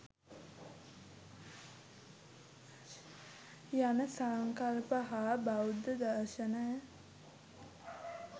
යන සංකල්ප හා බෞද්ධ දර්ශනය